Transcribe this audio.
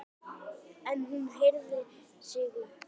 En hún herðir sig upp.